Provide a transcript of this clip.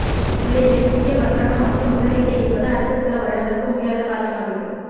இல்லையெனில் புதிய வர்த்தகம் மற்றும் முதலீட்டை ஈர்ப்பது அடுத்தச் சில வருடங்களுக்கு முடியாத காரியமாகிவிடும்